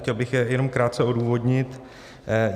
Chtěl bych je jenom krátce odůvodnit.